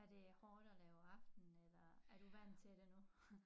Er det hårdt at lave aften eller er du vant til det nu